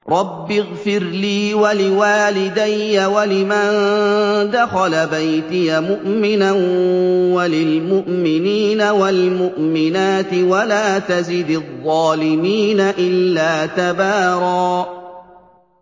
رَّبِّ اغْفِرْ لِي وَلِوَالِدَيَّ وَلِمَن دَخَلَ بَيْتِيَ مُؤْمِنًا وَلِلْمُؤْمِنِينَ وَالْمُؤْمِنَاتِ وَلَا تَزِدِ الظَّالِمِينَ إِلَّا تَبَارًا